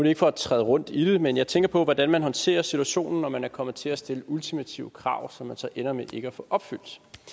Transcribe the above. ikke for at træde rundt i det men jeg tænker på hvordan man håndterer situationen når man er kommet til at stille ultimative krav som man så ender med ikke at få opfyldt